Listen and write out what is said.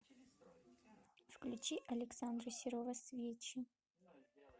включи александра серова свечи